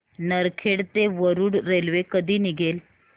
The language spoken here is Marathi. नरखेड ते वरुड रेल्वे कधी निघेल